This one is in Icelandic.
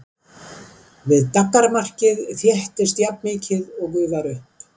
Við daggarmarkið þéttist jafnmikið og gufar upp.